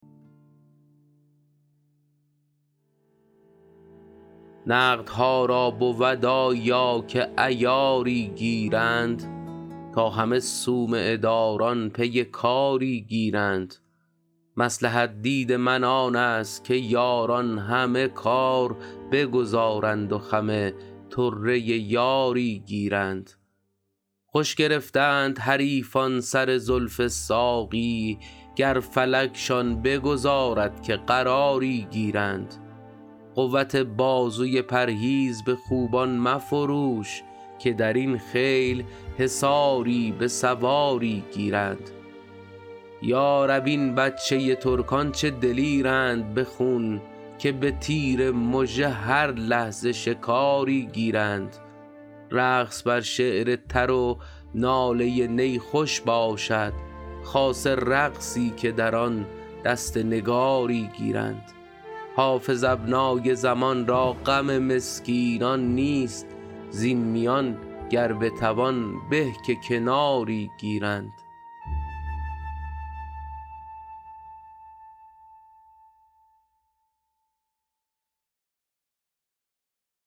نقدها را بود آیا که عیاری گیرند تا همه صومعه داران پی کاری گیرند مصلحت دید من آن است که یاران همه کار بگذارند و خم طره یاری گیرند خوش گرفتند حریفان سر زلف ساقی گر فلکشان بگذارد که قراری گیرند قوت بازوی پرهیز به خوبان مفروش که در این خیل حصاری به سواری گیرند یا رب این بچه ترکان چه دلیرند به خون که به تیر مژه هر لحظه شکاری گیرند رقص بر شعر تر و ناله نی خوش باشد خاصه رقصی که در آن دست نگاری گیرند حافظ ابنای زمان را غم مسکینان نیست زین میان گر بتوان به که کناری گیرند